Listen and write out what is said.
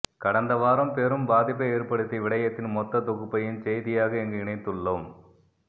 கடந்த வாரம் பெரும் பாதிப்பை ஏற்படுத்திய விடயத்தின் மொத்த தொகுப்பையும் செய்தியாக இங்கு இணைத்துள்ளோம்